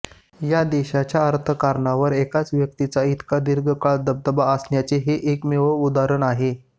या देशाच्या अर्थकारणावर एकाच व्यक्तीचा इतका दीर्घकाळ दबदबा असण्याचे हे एकमेव उदाहरण आहे